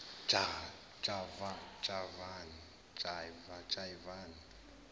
javani